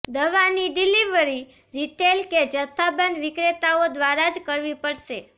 દવાની delivery retail કે જથ્થાબંધ વિક્રેતાઓ દ્વારા જ કરવી પડશે